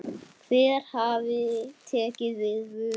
Hver hafi tekið við vörunni?